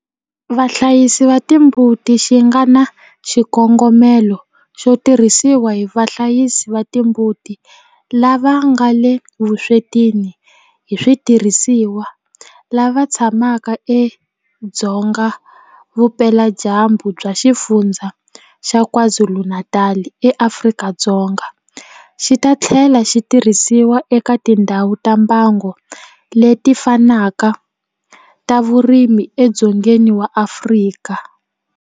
Vahlayisi va timbuti xi nga na xikongomelo xo tirhisiwa hi vahlayisi va timbuti lava nga le vuswetini hi switirhisiwa lava tshamaka edzonga vupeladyambu bya Xifundzha xa KwaZulu-Natal eAfrika-Dzonga, xi ta tlhela xi tirhisiwa eka tindhawu ta mbango leti fanaka ta vurimi edzongeni wa Afrika.